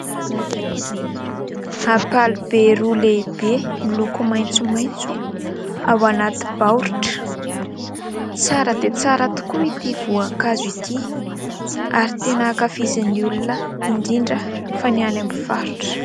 Ampalibe roa lehibe miloko maintsomaintso, ao anaty baoritra. Tsara dia tsara tokoa ity voankazo ity ary tena ankafizin'ny olona indrindra fa ny any amin'ny faritra.